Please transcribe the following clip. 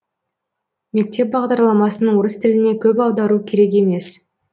мектеп бағдарламасын орыс тіліне көп аудару керек емес